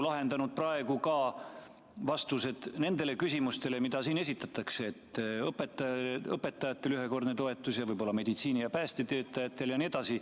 See oleks ju vastanud ka nendele küsimustele, mida siin esitatakse, et õpetajatele ühekordset toetust ja võib-olla ka meditsiini- ja päästetöötajatele jne.